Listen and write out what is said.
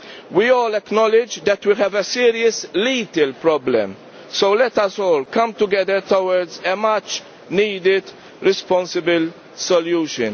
We all acknowledge that we have a serious, lethal problem, so let us all come together towards a much needed responsible solution.